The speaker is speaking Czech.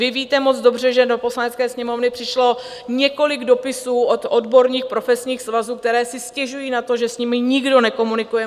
Vy víte moc dobře, že do Poslanecké sněmovny přišlo několik dopisů od odborných profesních svazů, které si stěžují na to, že s nimi nikdo nekomunikuje.